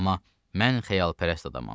Amma mən xəyalpərəst adamam.